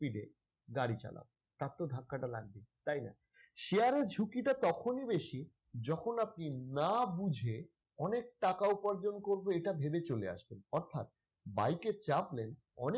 speed এ গাড়ি চালাও তার তো ধাক্কাটা লাগবে তাইনা? share এর ঝুঁকিটা তখনই বেশি যখন আপনি না বুঝে অনেক টাকা উপার্জন করবো এটা ভেবে চলে আসেন অর্থাৎ bike এ চাপলেন অনেক,